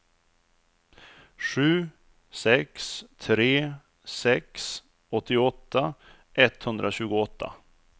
sju sex tre sex åttioåtta etthundratjugoåtta